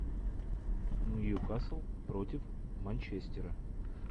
нью касл против манчестера